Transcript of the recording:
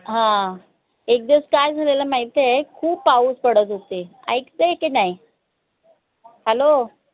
हम्म एक दिवस काय झालेल माहिताय खूप पाऊस पडत होते. ऐकते आय की नाई hello